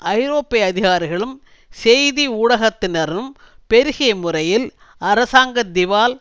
ஐரோப்பிய அதிகாரிகளும் செய்தி ஊடகத்தினரும் பெருகிய முறையில் அரசாங்க திவால்